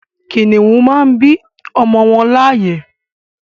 Kìnnìún màá n bí àwọn ọmọ wọn láàyè